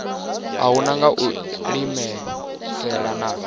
uhu nga u iimisela na